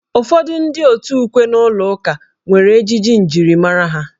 Ụfọdụ ndị òtù ukwe n'ụlọ ụka nwere ejiji njirimara ha.